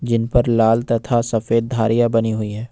इनपर लाल तथा सफेद धारियां बनी हुई है।